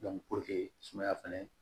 sumaya fɛnɛ